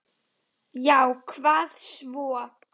Já og hvað svo!